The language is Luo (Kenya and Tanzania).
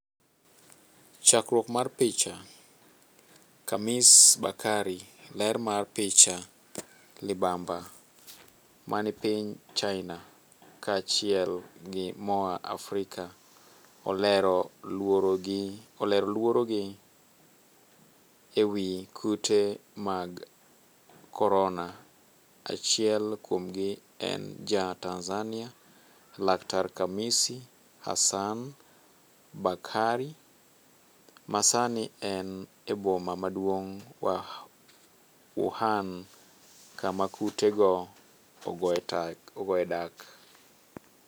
Chakruok mar picha, KHAMIS BAKARI, ler mar picha, libamba mani piny China ka achiel gi moa Afrika olero luoro gi ewi kute mag korona, achiel kuomgi en ja Tanzania, laktar Khamisi Hassan Bakari, ma sani en eboma maduong' Wuhan kama kute go ogoe dak.